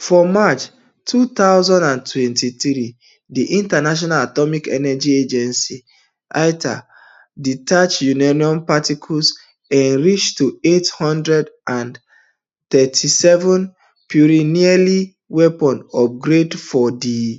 for march two thousand and twenty-three di international atomic energy agency iaea detect uranium particles enriched to eight hundred and thirty-seven puritynearly weapons gradefor di site